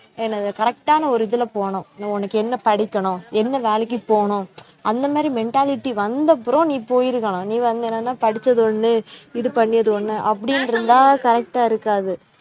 என்னது correct ஆன ஒரு இதுல போகனும், உனக்கு என்ன படிக்கணும் என்ன வேலைக்கு போகனும் அந்த மாதிரி mentality வந்தப்புறவும் நீ போயிருக்கலாம் நீ வந்து என்னன்னா படிச்சது ஒண்ணு இது பண்ணது ஒண்ணு அப்படின்னு இருந்தா correct ஆ இருக்காது